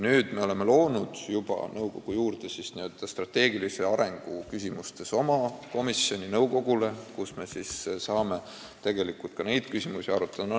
Nüüd me oleme loonud nõukogu juurde strateegilise arengu küsimustega tegeleva komisjoni, kus me saame ka neid küsimusi arutada.